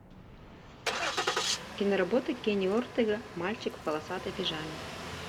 киноработа кенни уортега мальчик в полосатой пижаме